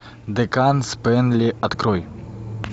декан спэнли открой